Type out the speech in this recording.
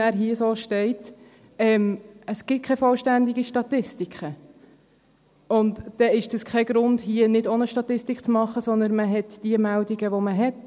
Es gibt keine vollständigen Statistiken, und dann ist das kein Grund, hier nicht auch eine Statistik zu machen, sondern man hat die Meldungen, die man hat.